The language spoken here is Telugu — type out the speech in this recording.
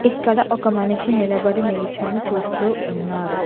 ఇక్కడ ఒక మనిషి నిలబడి నిల్చొని చూస్తూ ఉన్నాడు.